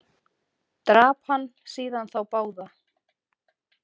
Drap hann síðan þá báða.